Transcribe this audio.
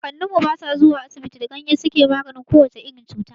Kakannin mu na da ba su zuwa asibiti da ganyayyaki suke maganin ko wace irin cuta.